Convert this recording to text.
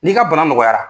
N'i ka bana nɔgɔyara